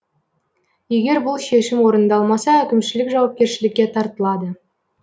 егер бұл шешім орындалмаса әкімшілік жауапкершілікке тартылады